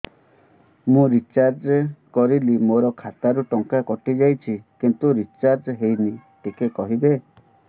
ମୁ ରିଚାର୍ଜ କରିଲି ମୋର ଖାତା ରୁ ଟଙ୍କା କଟି ଯାଇଛି କିନ୍ତୁ ରିଚାର୍ଜ ହେଇନି ଟିକେ କହିବେ